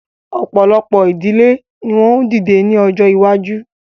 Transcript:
Ọ̀pọ̀lọpọ̀ ìdílé ni wọ́n ó dìde ní ọjọ́ iwájú